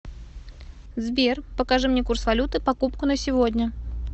сбер покажи мне курс валюты покупку на сегодня